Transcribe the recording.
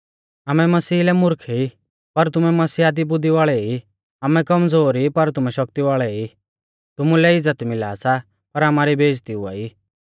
आमै मसीहा लै मुर्ख ई पर तुमै मसीहा दी बुद्धी वाल़ै ई आमै कमज़ोर ई पर तुमै शक्ति वाल़ै ई तुमुलै इज़्ज़त मिला सा पर आमारी बेइज़्ज़ती हुआई